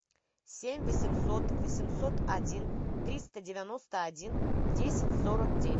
семь восемьсот восемьсот один триста девяносто один десять сорок девять